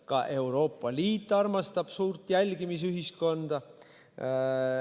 Ka Euroopa Liit armastab suurt jälgimisühiskonda.